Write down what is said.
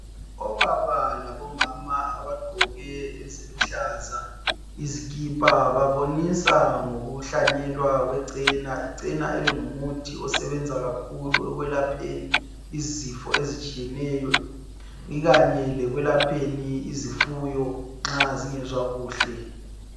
Obaba labomama abagqoke eziluhlaza izikhipha babonisa ngokuhlanyelwa kwecena, icena lingumuthi osebenza kakhulu ekwelapheni izifo ezitshiyeneyo ikanye lokulapheni izifunyo nxa zingezwa kuhle.